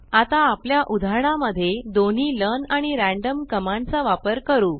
आता आपल्या उदाहरणा मध्ये दोन्ही लर्न आणि रॅन्डम कमांड चा वापर करू